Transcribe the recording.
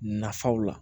Nafaw la